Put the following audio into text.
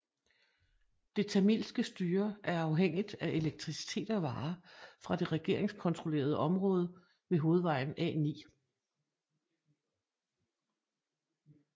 Det tamilske styre er afhængigt af elektricitet og varer fra det regeringskontrollerede område ved hovedvejen A9